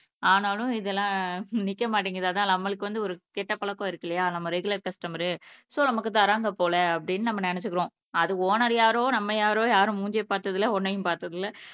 ஆனாலும் இதுலாம் நிக்க மாட்டிங்குது அதான் நம்மளுக்கு வந்து ஒரு கெட்ட பழக்கம் இருக்கு இல்லையா நம்ம ரெகுலர் கஸ்டமரு சோ நமக்கு தராங்க போல அப்படினு நம்ம நினச்சுக்குறோம் அது ஓனர் யாரோ நம்ம யாரோ யாரும் மூஞ்சிய பாத்தது இல்ல ஒன்னையும் பாத்தது இல்ல